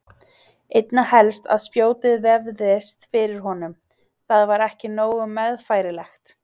Einna helst að spjótið vefðist fyrir honum, það var ekki nógu meðfærilegt.